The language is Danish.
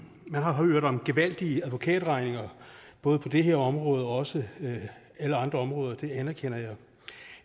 man har hørt om gevaldige advokatregninger både på det her område og også alle andre områder det anerkender jeg